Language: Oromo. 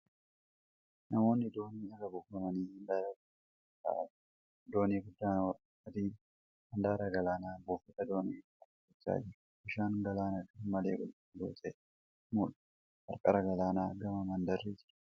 Namoonni doonii irraa buufamanii handaara galaanaa irra taa'aa jiru. Doonii guddaa adiin handaara galaanas buufata doonii irra dhaabbachaa jira. Bishaan galaanaa garmalee qulqulluu ta'ee mul'ata. Qarqara Galaanaan gamaa mandarri jira.